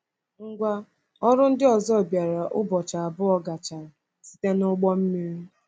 Ngwa ọrụ ndị ọzọ bịara ụbọchị abụọ gachara site n’ụgbọ mmiri.”